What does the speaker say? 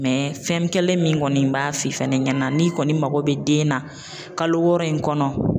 fɛn kelen min kɔni b'a f'i fɛnɛ ɲɛna n'i kɔni mako bɛ den na kalo wɔɔrɔ in kɔnɔ.